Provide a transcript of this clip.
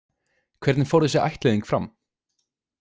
Hvernig fór þessi ættleiðing fram?